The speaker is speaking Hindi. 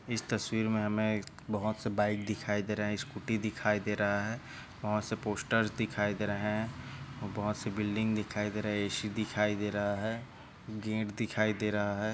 इस तस्वीर मे हमे एक बहुत से बाइक दिखाए दे रहे है स्कूटी दिखाए दे रहा है बहुत से पोस्टर्स दिखाए दे रहे है बहुत से बिल्डिंग दिखाई दे रहे है ए _सी दिखाए दे रहा है गेट दिखाए दे रहा है।